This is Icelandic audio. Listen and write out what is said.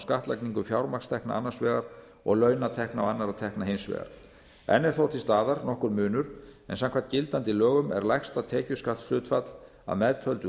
skattlagningu fjármagnstekna annars vegar og launatekna og annarra tekna hins vegar enn er þó til staðar nokkur munur en samkvæmt gildandi lögum er lægsta tekjuskattshlutfall að meðtöldu